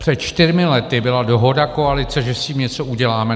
Před čtyřmi lety byla dohoda koalice, že s tím něco uděláme.